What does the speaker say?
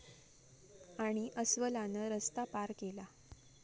...आणि अस्वलानं रस्ता पार केला